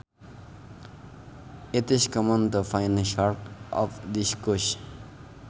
It is common to find sharks off this coast